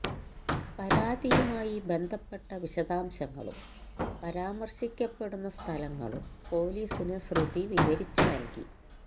പരാതിയുമായി ബന്ധപ്പെട്ട വിശദാംശങ്ങളും പരാമർശിക്കപ്പെടുന്ന സ്ഥലങ്ങളും പൊലീസിന് ശ്രുതി വിവരിച്ച് നൽകി